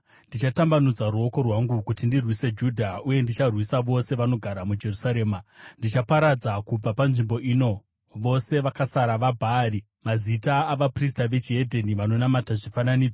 Ndichatambanudza ruoko rwangu kuti ndirwise Judha uye ndicharwisa vose vanogara muJerusarema. Ndichaparadza kubva panzvimbo ino vose vakasara vaBhaari, mazita avaprista vechihedheni vanonamata zvifananidzo,